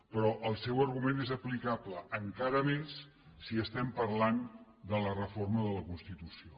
però el seu argument és aplicable encara més si estem parlant de la reforma de la constitució